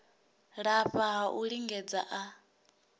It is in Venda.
lafha ha u lingedza a